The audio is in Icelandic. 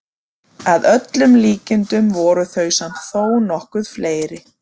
Að öllum líkindum voru þau samt þó nokkuð fleiri.